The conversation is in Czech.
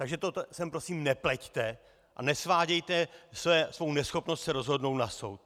Takže to sem prosím nepleťte a nesvádějte svou neschopnost se rozhodnout na soud!